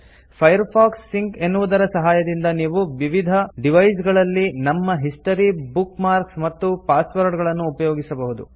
Firefox sync ಎನ್ನುವುದರ ಸಹಾಯದಿಂದ ನಾವು ವಿವಿಧ ಡಿವೈಸ್ ಗಳಲ್ಲಿ ನಮ್ಮ ಹಿಸ್ಟರಿ ಬುಕ್ ಮಾರ್ಕ್ಸ್ ಮತ್ತು ಪಾಸ್ವರ್ಡ್ಸ್ಗಳನ್ನು ಉಪಯೋಗಿಸಬಹುದು